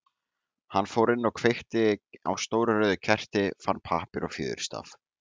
Hann fór inn og kveikti á stóru rauðu kerti, fann pappír og fjöðurstaf.